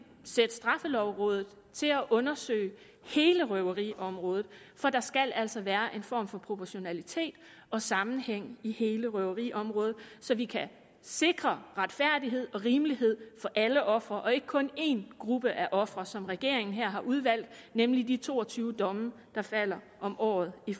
sætte straffelovrådet til at undersøge hele røveriområdet for der skal altså være en form for proportionalitet og sammenhæng i hele røveriområdet så vi kan sikre retfærdighed og rimelighed for alle ofre og ikke kun én gruppe af ofre som regeringen her har udvalgt nemlig i de to og tyve domme der falder om året i